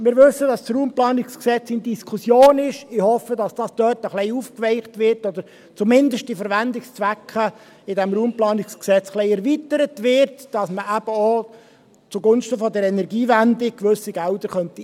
Wir wissen, dass das RPG in Diskussion ist, und ich hoffe, dass dies dort ein wenig aufgeweicht wird, oder dass zumindest die Verwendungszwecke im RPG ein wenig erweitert werden, damit man eben gewisse Gelder auch zugunsten der Energiewende einsetzen könnte.